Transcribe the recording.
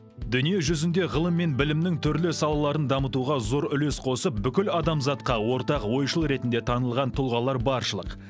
дүние жүзінде ғылым мен білімнің түрлі салаларын дамытуға зор үлес қосып бүкіл адамзатқа ортақ ойшыл ретінде танылған тұлғалар баршылық